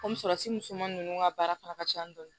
Kɔmi sɔrɔsi musoman ninnu ka baara fana ka can dɔɔni